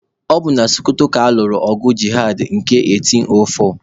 Ọ bụ na Sokoto ka a nụrụ ọgụ jihad nke 1804.